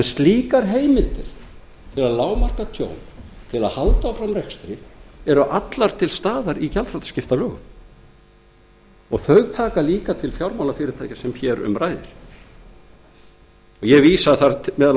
slíkar heimildir til að lágmarka tjón til að halda áfram rekstri er hins vegar þegar að finna í núgildandi lögum um gjaldþrotaskipti númer tuttugu og eitt nítján hundruð níutíu og eitt sem taka einnig til fjármálafyrirtækja samkvæmt lögum um fjármálafyrirtæki